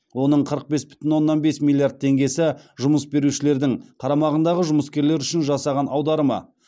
оның қырық бес бүтін оннан бес миллиард теңгесі жұмыс берушілердің қарамағындағы жұмыскерлер үшін жасаған аударымы